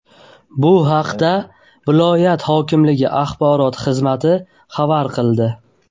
Bu haqda viloyat hokimligi axborot xizmati ma’lum qildi .